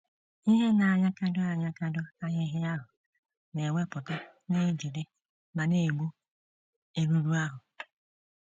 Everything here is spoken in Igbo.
Ihe na - anyakụdo anyakụdo ahịhịa ahụ na - ewepụta na - ejide ma na - egbu erùrù ahụ.